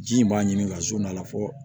Ji in b'a ɲini ka zon a la fɔ